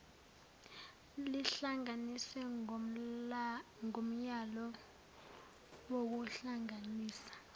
lihlanganiswe ngomyalo wokuhlanganisa